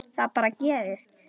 Það bara gerist.